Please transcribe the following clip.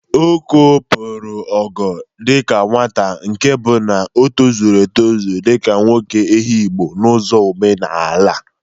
Oko pụrụ ogo dịka nwata nke bụ na o tozuru etụzụ dịka nwoke Ehụgbọ n'ụzọ omenala.